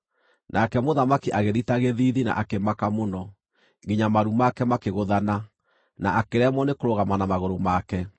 Nake mũthamaki agĩthita gĩthiithi na akĩmaka mũno, nginya maru make makĩgũthana, na akĩremwo nĩkũrũgama na magũrũ make.